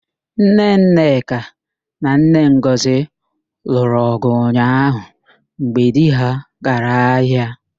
Nne Nneka na nne Ngọzị lụrụ ọ̀gụ̀ ụnyaahụ mgbe di ha gara ahịa.